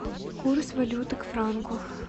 курс валюты к франку